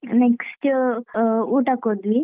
Next ಅ ಊಟಕ್ ಹೋದ್ವಿ.